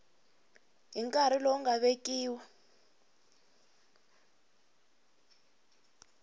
hi nkarhi lowu nga vekiwa